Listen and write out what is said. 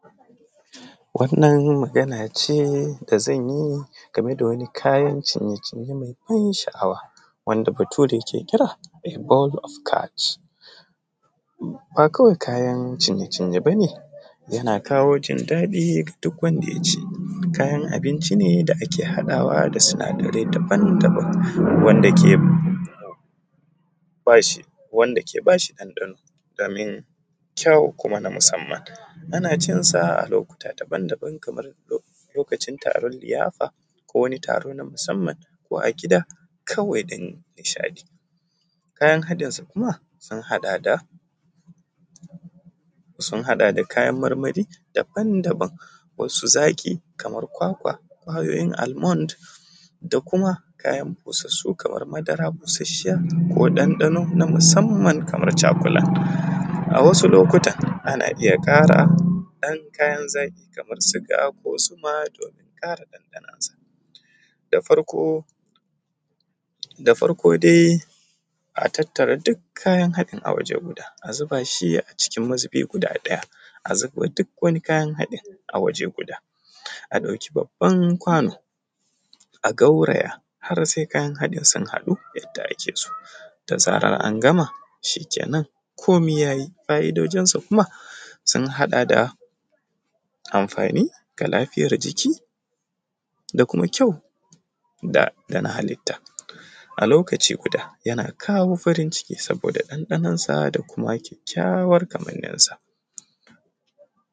Wannan magana ce da zanyi game da kayan cinye-cinye me ban sha’awa, wanda bature ke kira ( ball skch) ba kawai kayan cinye-cinye ba ne yana kawo jin daɗi ga duk wanda ya ci, kayan abincin ne da ake haɗawa da sinadarai daban-dabam, wanda ke bashi ɗanɗano domin kyawun kuma na musamman, ana cinsa a lokuta daban-dabam kaman lokacin taron liyafa ko wani taro na musamman, a ko gida kawai don nishaɗi. Kayan haɗinsa kuma sun haɗa da kayan marmari daban-dabam, wasu zaƙi, kamar kwakwa, ƙwayoyin almont da kuma kayan bussasu kaman madara bussashiya ko ɗanɗano na musamman kaman cakulat. A wasu lokatan Akan iya kara ɗan kayan zaƙi kaman suga ko zuma domin kara ɗanɗanonsa. Da farko, da farko dai a tattara duk kayan haɗin a waje guda, a zuba shi a cikin mazubi guda ɗaya, a zubo duk wani kayan haɗin a waje guda, a ɗauki babban kwano a gauraya har sai kayan haɗin sun haɗu yadda ake so, da zaran an gama shikenan kome ya yi. Fa’idojinsa kuma sun haɗa da amfani da lafiyar jiki, da kuma kyau dana halitta. A lokaci guda yana kawo farin ciki saboda da ɗanɗanonsa da kuma kyakkyawan kamaninsa.